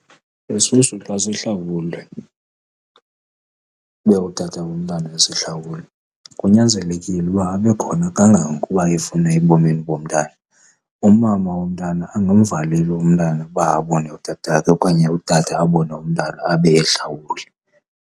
Isisu xa sihlawulwe ube utata womntana esihlawule kunyanzelekile uba abekhona kangangokuba efuna ebomini bomntana. Umama womntana angamvaleli umntana ukuba abone utata wakhe okanye utata abone umntana abe ehlawule.